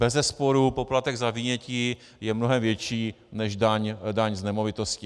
Bezesporu poplatek za vynětí je mnohem větší než daň z nemovitosti.